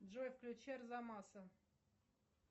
джой включи арзамаса